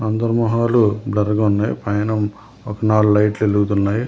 అందరు మొహాలు బ్లర్ గా ఉన్నాయ్ పైన ఒక నాలుగు లైట్లు ఎలుగుతున్నాయ్ .